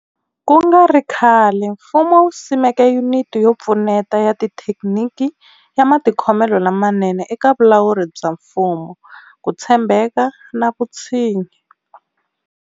Ku nga ri khale, mfumo wu simeke Yuniti yo Pfuneta ya Xithekiniki ya Matikhomelo lamanene eka Vulawuri bya Mfumo, Ku tshembeka na Vutshinyi.